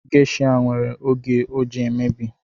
Geisha nwere oge o ji emebi